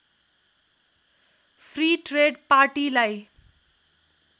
free trade पार्टीलाई